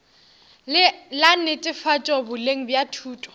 la netefatšo boleng bja thuto